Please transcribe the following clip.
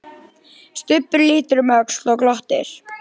Stubbur lítur um öxl og glottir.